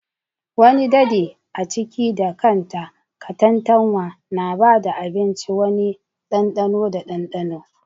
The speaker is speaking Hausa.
Wani dadi a ciki da kanta, katantanwa na ba da abinci wani ɗanɗano da dandano.